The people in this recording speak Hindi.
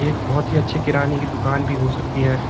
एक बहुत ही अच्छी किराने की दुकान भी हो सकती है।